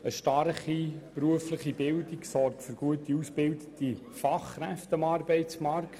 Eine starke berufliche Bildung sorgt für gut ausgebildete Fachkräfte am Arbeitsmarkt.